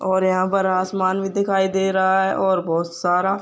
और यहाँ पर आसमान भी दिखाई दे रहा है और बोहोत सारा --